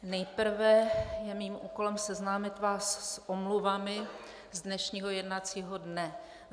Nejprve je mým úkolem seznámit vás s omluvami z dnešního jednacího dne.